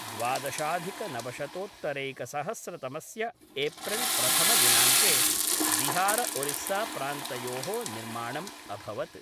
द्वादशाधिकनवशतोत्तरैकसहस्रतमस्य April प्रतमदिनाङ्के बिहारओरिस्साप्रान्तयोः निर्माणम् अभवत्।